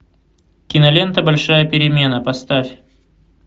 кинолента большая перемена поставь